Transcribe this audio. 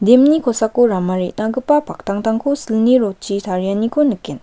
dam-ni kosako rama re·nagipa paktangtangko silni rod-chi tarianiko nikgen.